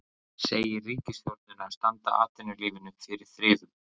Segir ríkisstjórnina standa atvinnulífinu fyrir þrifum